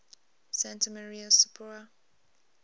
santa maria sopra